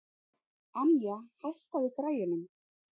Anja, hækkaðu í græjunum.